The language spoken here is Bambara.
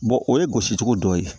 o ye gosicogo dɔ ye